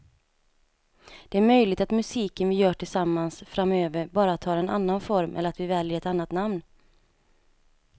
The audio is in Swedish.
Det är möjligt att musiken vi gör tillsammans framöver bara tar en annan form eller att vi väljer ett annat namn.